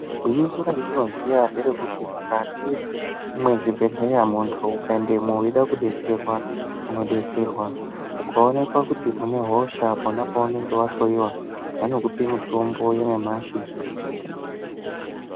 Gwinyiso randinoziya ngerekuti mukati mwezvibhedhlera muntu ukaendemo weida kudetserwa unodetserwka, ukaonekwa kuti une hosha pona paunenge wahloiwa vanokupe mitombo yanyamashi.